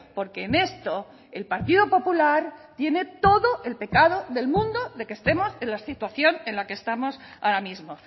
porque en esto el partido popular tiene todo el pecado del mundo de que estemos en la situación en la que estamos ahora mismo